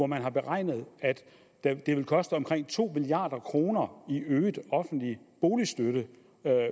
man har beregnet at det vil koste omkring to milliard kroner i øget offentlig boligstøtte